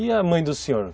E a mãe do senhor?